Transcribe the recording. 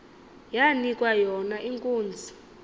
yanikwa yona inkunzi